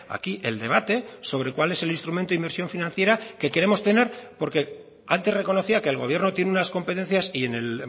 aquí el debate sobre cuál es el instrumento de inversión financiera que queremos tener porque antes reconocía que el gobierno tiene unas competencias y en el